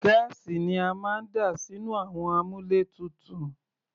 Gáàsì ni a máa ń dà sínú àwọn àmúlétuntun.